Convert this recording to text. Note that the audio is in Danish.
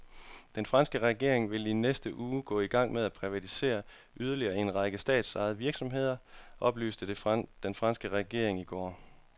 Den franske regering vil i næste uge gå i gang med at privatisere yderligere en række statsejede virksomheder, oplyste franske regeringskilder i går.